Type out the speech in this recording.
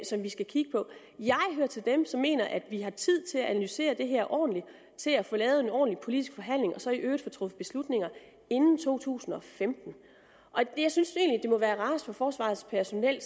som vi skal kigge på jeg hører til dem som mener at vi har tid til at analysere det her ordentligt til at få lavet en ordentlig politisk forhandling og så i øvrigt få truffet beslutninger inden to tusind og femten jeg synes egentlig må være rarest for forsvarets personel